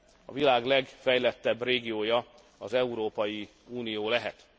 a világ legfejlettebb régiója az Európai Unió lehet.